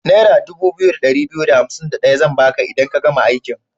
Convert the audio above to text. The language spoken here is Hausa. Naira 2251 zan ba ka idan ka gama aikin.